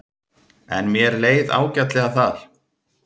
En mér leið ágætlega þar.